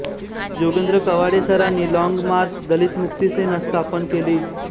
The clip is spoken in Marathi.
जोगेंद्र कवाडे सरांनी लॉंग मार्च दलित मुक्ति सेना स्थापन केली